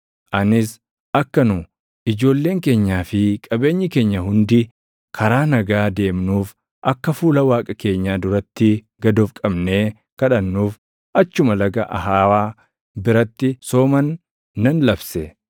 Anis akka nu, ijoolleen keenyaa fi qabeenyi keenya hundi karaa nagaa deemnuuf akka fuula Waaqa keenyaa duratti gad of qabnee kadhannuuf achuma Laga Ahawaa biratti sooman nan labse.